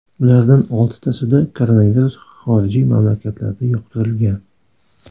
Ulardan oltitasida koronavirus xorijiy mamlakatlarda yuqtirilgan.